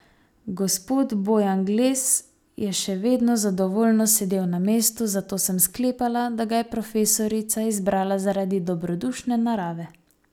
Gospod Bojangles je še vedno zadovoljno sedel na mestu, zato sem sklepala, da ga je profesorica izbrala zaradi dobrodušne narave.